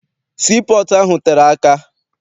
Sii pọọtụ ahụ tere aka.